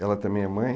Ela também é mãe?